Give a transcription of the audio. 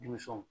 Denmisɛnw